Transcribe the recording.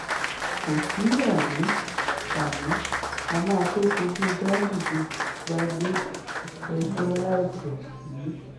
kò sí àní-àní á máa tóó fojú ganduje balẹ̀-ẹjọ́ láìpẹ́ yìí